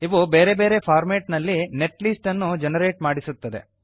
ಇವು ಬೇರೆ ಬೇರೆ ಫಾರ್ಮೇಟ್ ನಲ್ಲಿ ನೆಟ್ಲಿಸ್ಟ್ ಅನ್ನು ಜೆನರೇಟ್ ಮಾಡಿಸುತ್ತದೆ